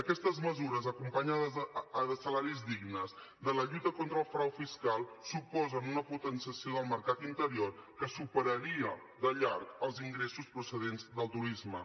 aquestes mesures acompanyades de salaris dignes de la lluita contra el frau fiscal suposen una potenciació del mercat interior que superaria de llarg els ingressos procedents del turisme